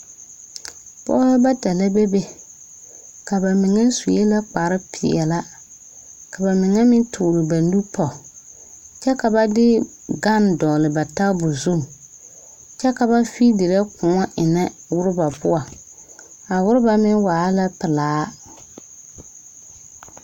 pɔgeba bata la bebe ka ba mine su kpare. pɛɛle ka ba mine meŋ tɔɔre ba nuuri pɔge, kyɛ ka ba de gan dɔgeli ba tabol zu, kyɛ ka ba de koɔ enne ɔrebaare poɔ a ɔreba meŋ waala pɛlaa .